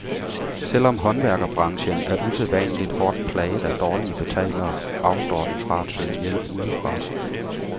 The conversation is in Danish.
Selv om håndværkerbranchen er usædvanligt hårdt plaget af dårlige betalere, afstår den fra at søge hjælp udefra.